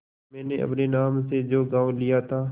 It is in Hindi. मैंने अपने नाम से जो गॉँव लिया था